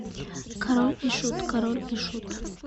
король и шут король и шут